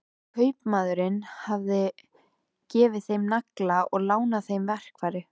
Kaupmaðurinn hafði gefið þeim nagla og lánað þeim verkfæri.